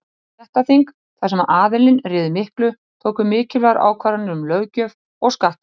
Stéttaþing, þar sem aðallinn réði miklu, tóku mikilvægar ákvarðanir um löggjöf og skatta.